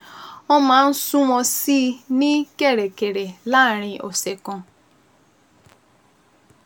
Wọ́n máa ń sunwọ̀n sí i ní kẹ̀rẹ̀kẹ̀rẹ̀ láàárín ọ̀sẹ̀ kan